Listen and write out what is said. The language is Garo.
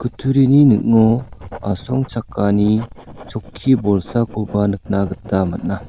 kutturini ning·o asongchakani chokki bolsakoba nikna gita man·a.